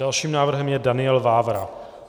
Dalším návrhem je Daniel Vávra.